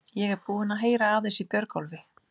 Ég er búinn að heyra aðeins í Björgólfi.